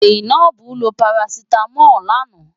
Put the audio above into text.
Zainab lo parasítámọ̀ lánàá.